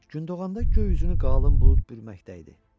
Gündoğanda göy üzünü qalın bulud bürməkdə idi.